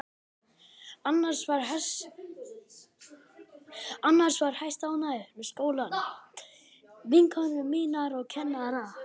Annars var ég hæstánægð með skólann, vinkonur mínar og kennarana.